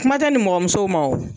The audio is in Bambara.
Kuma tɛ nimɔgɔ musow ma o.